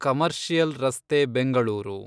commercial ರಸ್ತೆ ಬೆಂಗಳೂರು